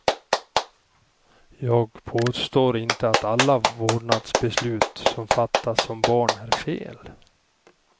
Jag påstår inte att alla vårdnadsbeslut som fattas om barn är fel.